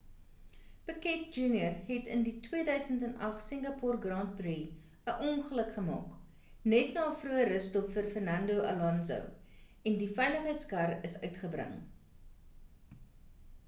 piquet jr het in die 2008 singapoer grand prix 'n ongeluk gemaak net na 'n vroeë russtop vir fernando alonso en die veiligheidskar is uitgebring